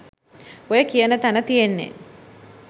ඔය කියන තැන තියෙන්නේ